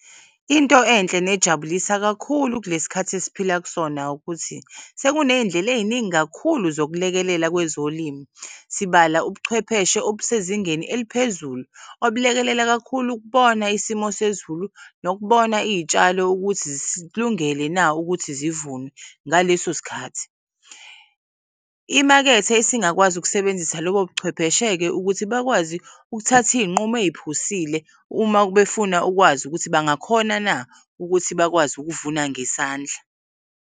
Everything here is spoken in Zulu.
Into enhle nejabulisa kakhulu kulesikhathi esiphila kusona ukuthi sekune'y'ndlela ey'ningi kakhulu zokulekelela kwezolimo, sibala ubuchwepheshe obusezingeni eliphezulu obulekelela kakhulu ukubona isimo sezulu nokubona iy'tshalo ukuthi zikulungele na ukuthi zivunwe ngaleso sikhathi. Imakethe isingakwazi ukusebenzisa lobobuchwepheshe-ke ukuthi bakwazi ukuthath'iy'nqumo eziphusile umabefuna ukwazi ukuthi bangakhona na ukuthi bakwazi ukuvuna ngesandla.